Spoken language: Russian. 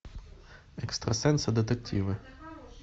экстрасенсы детективы